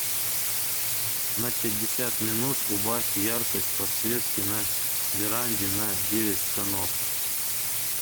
на пятьдесят минут убавь яркость подсветки на веранде на девять тонов